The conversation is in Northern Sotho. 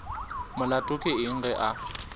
molato ke eng ge a